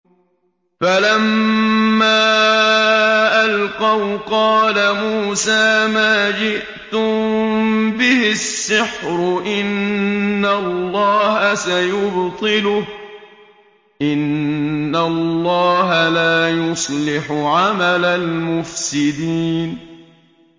فَلَمَّا أَلْقَوْا قَالَ مُوسَىٰ مَا جِئْتُم بِهِ السِّحْرُ ۖ إِنَّ اللَّهَ سَيُبْطِلُهُ ۖ إِنَّ اللَّهَ لَا يُصْلِحُ عَمَلَ الْمُفْسِدِينَ